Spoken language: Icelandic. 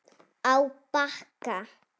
Á Bakka